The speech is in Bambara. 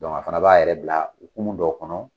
Dɔnku a fana b'a yɛrɛ bila kulu dɔw kɔnɔ.